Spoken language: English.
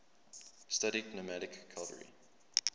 studied nomadic cavalry